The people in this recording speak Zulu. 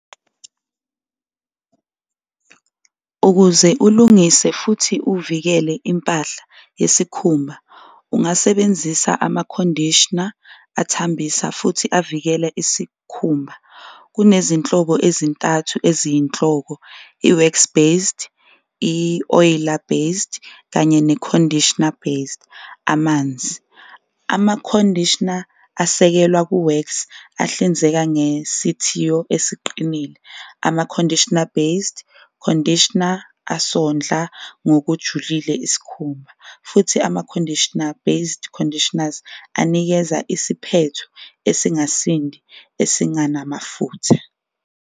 Ukuze ulungise futhi uvikele impahla yesikhumba ungasebenzisa ama-conditioner athambisa futhi avikela isikhumba, kunezinhlobo ezintathu eziyinhloko i-wax-based, i-oiler based kanye ne-conditioner based amanzi. Ama-conditioner asekelwa ku-wax ahlinzeka ngesithiyo esiqinile, ama-conditioner-based conditioner asondla ngokujulile isikhumba, futhi ama-conditioner-based conditioners anikeza isiphetho esingasindi esinganamafutha.